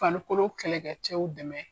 Fanikolo kɛlɛkɛ cɛw dɛmɛ.